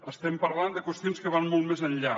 estem parlant de qüestions que van molt més enllà